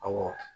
Awɔ